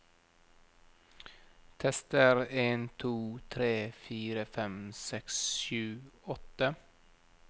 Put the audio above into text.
Tester en to tre fire fem seks sju åtte